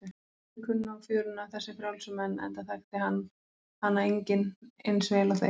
Þeir kunnu á fjöruna, þessir frjálsu menn, enda þekkti hana enginn eins vel og þeir.